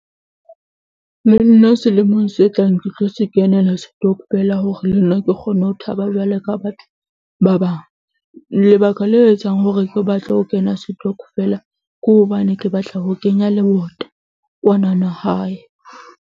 Le nna selemong se tlang ke tlo se kenela setokfela hore le nna ke kgone ho thaba jwalo ka batho ba bang. Lebaka le etsang hore ke batle ho kena setokofela, ke hobane ke batla ho kenya lebota kwana na hae.